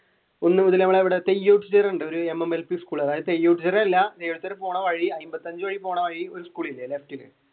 ഒന്നുമുതൽ mmlp school പോണ വഴി അയിമ്പത്തഞ്ച് പോണ വഴി ഒരു സ്കൂൾ ഇല്ലേ left